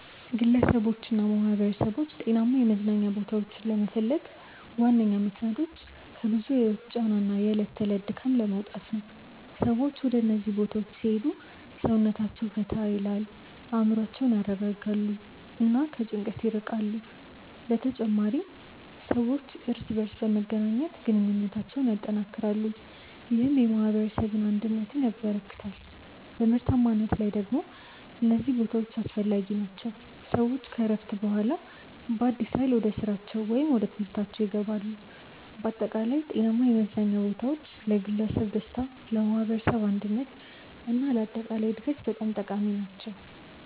ግለሰቦችና ማኅበረሰቦች ጤናማ የመዝናኛ ቦታዎችን ለመፈለግ ዋነኛ ምክንያቶች ከብዙ የህይወት ጫና እና የዕለት ተዕለት ድካም ለመውጣት ነው። ሰዎች ወደ እነዚህ ቦታዎች ሲሄዱ ሰውነታቸውን ፈታ ይላል፣ አእምሮአቸውን ያረጋጋሉ እና ከጭንቀት ይርቃሉ። በተጨማሪም ሰዎች እርስ በርስ በመገናኘት ግንኙነታቸውን ያጠናክራሉ፣ ይህም የማኅበረሰብ አንድነትን ያበረክታል። በምርታማነት ላይ ደግሞ እነዚህ ቦታዎች አስፈላጊ ናቸው፤ ሰዎች ከእረፍት በኋላ በአዲስ ኃይል ወደ ስራቸው ወይም ወደ ትምህርታችው ይገባሉ። በአጠቃላይ ጤናማ የመዝናኛ ቦታዎች ለግለሰብ ደስታ፣ ለማኅበረሰብ አንድነት እና ለአጠቃላይ እድገት በጣም ጠቃሚ ናቸው።